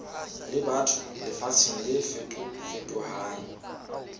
le batho lefatsheng le fetofetohang